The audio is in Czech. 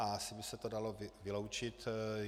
Asi by se to dalo vyloučit.